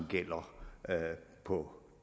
gælder på